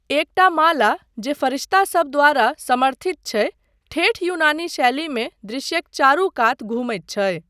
एकटा माला, जे फरिश्तासब द्वारा समर्थित छै, ठेठ यूनानी शैलीमे दृश्यक चारू कात घुमैत छै।